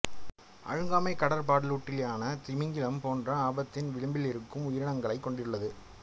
அழுங்காமை கடற்பாலூட்டியான திமிங்கலம் போன்ற ஆபத்தின் விளிம்பிலிருக்கும் உயிரினங்களையும் கொண்டுள்ளது